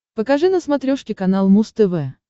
покажи на смотрешке канал муз тв